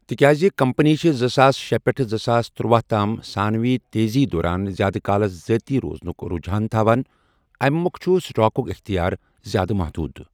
تِکیٛازِ کمپنی چھِ زٕساس شے پٮ۪ٹھٕ زٕ ساس تٔرُوَہ تام 'ثانوی تیزی'دوران زِیٛادٕ کالَس ذٲتی روزنُکھ رجحان تھاوان، اَمی مۄکھٕ چھُ سٹاکُک اختیار زِیٛادٕ محدوٗد۔